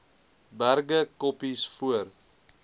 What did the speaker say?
berge koppies voor